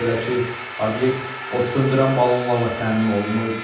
Belə ki, obyekt odsöndürən balonlarla təmin olunmayıb.